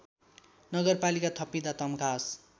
नगरपालिका थपिँदा तम्घास